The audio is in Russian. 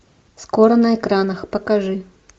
скоро на экранах покажи